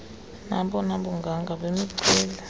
nobona bunganga bemiceli